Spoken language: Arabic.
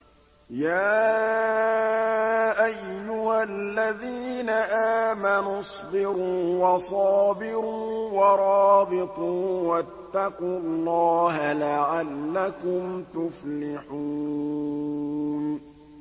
يَا أَيُّهَا الَّذِينَ آمَنُوا اصْبِرُوا وَصَابِرُوا وَرَابِطُوا وَاتَّقُوا اللَّهَ لَعَلَّكُمْ تُفْلِحُونَ